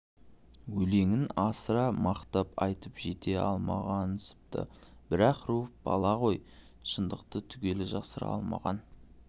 өлеңін асыра мақтап айтып жете алмағансыпты бірақ руфь бала ғой шындықты түгел жасыра алмаған